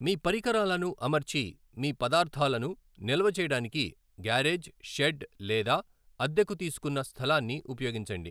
మీ పరికరాలను అమర్చి మీ పదార్థాలను నిల్వ చేయడానికి గ్యారేజ్, షెడ్ లేదా అద్దెకు తీసుకున్న స్థలాన్ని ఉపయోగించండి.